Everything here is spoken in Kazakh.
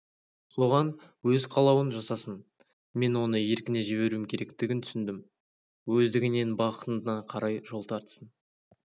соған өз қалауын жасасын мен оны еркіне жіберуім керектігін түсіндім өздігінен бақытына қарай жол тартсын